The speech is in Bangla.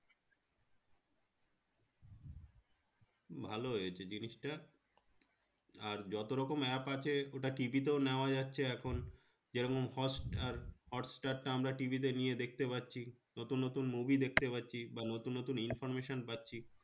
ভালো হয়েছে জিনিসটা আর যত রকম app আছে ওটা TV তেও নেওয়া যাচ্ছে এখন যেরকম হটস্টার হটস্টার টা আমরা TV তে নিয়ে দেখতে পাচ্ছি নতুন নতুন movie দেখতে পাচ্ছি বা নতুন নতুন information পাচ্ছি